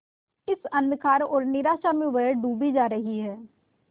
इस अंधकार और निराशा में वह डूबी जा रही है